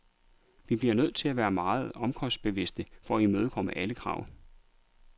Vi bliver nødt til at være meget omkostningsbevidste for at imødekomme alle krav.